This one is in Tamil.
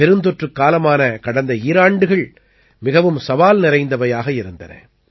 பெருந்தொற்றுக் காலமான கடந்த ஈராண்டுகள் மிகவும் சவால் நிறைந்தவையாக இருந்தன